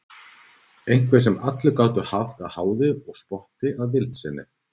Einhver sem allir gátu haft að háði og spotti að vild sinni.